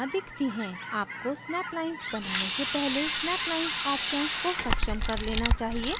आपको snap lines बनाने से पहले snap lines option को सक्षम कर लेना चाहिए